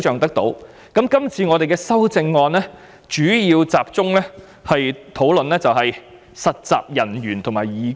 關於這次的修正案，我們主要集中討論實習人員和義工。